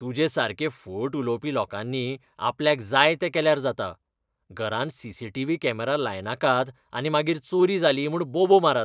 तुजे सारकें फट उलोवपी लोकांनी आपल्याक जाय तें केल्यार जाता, घरांत सी.सी.टी.व्ही. कॅमेरा लायनाकात आनी मागीर चोरी जाली म्हूण बोबो मारात.